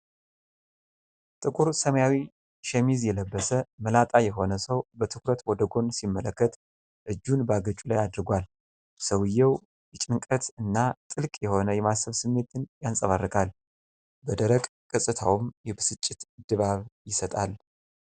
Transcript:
ጥቁር ሰማያዊ ሸሚዝ የለበሰ፣ መላጣ የሆነ ሰው በትኩረት ወደ ጎን ሲመለከት እጁን በአገጩ ላይ አድርጓል። ሰውየው የጭንቀት እና ጥልቅ የሆነ የማሰብ ስሜትን ያንፀባርቃል፤ በደረቅ ገጽታውም የብስጭት ድባብ ይሰጣል።